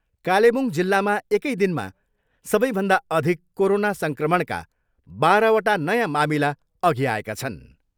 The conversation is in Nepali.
कालेबुङ जिल्लामा एकै दिनमा सबैभन्दा अधिक कोरोना सङ्क्रमणका बाह्रवटा नयाँ मामिला अघि आएका छन्।